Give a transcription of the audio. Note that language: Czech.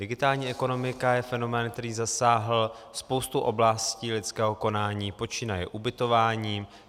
Digitální ekonomika je fenomén, který zasáhl spoustu oblastí lidského konání počínaje ubytováním.